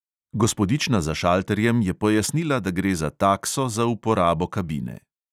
Gospodična za šalterjem je pojasnila, da gre za takso za uporabo kabine.